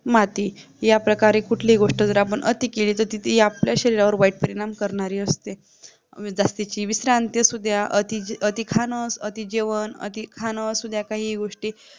माती याप्रकारे आपण कुठलीही गोष्ट जर अति केली तर ती आपल्या शरीरावर वाईट परिणाम करणारी असते अगदी जी विश्रान्ति असुद्या अति खान अति जेवण काहीही गोष्टी